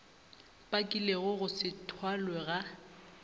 bakilego go se thwalwe ga